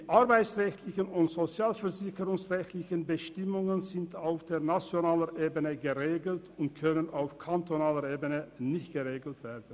Die arbeits- und sozialversicherungsrechtlichen Bestimmungen sind auf der nationalen Ebene geregelt und können nicht auf kantonaler Ebene geregelt werden.